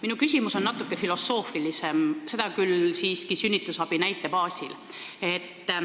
Minu küsimus on natuke filosoofilisem, seda küll siiski sünnitusabi näite baasil.